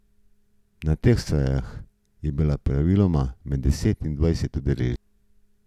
Na teh sejah je bilo praviloma med deset in dvajset udeležencev.